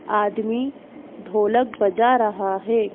आदमी ढोलक बजा रहा है।